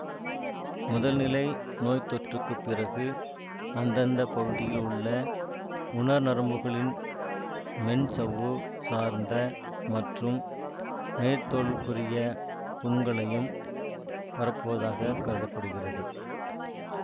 முதல்நிலை நோய்த்தொற்றுக்குப் பிறகு அந்தந்த பகுதியில் உள்ள உணர் நரம்புகளின் மென் சவ்வு சார்ந்த மற்றும் மேற்தோலிற்குரியப் புண்களையும் பரப்புவதாகக் கருத படுகிறது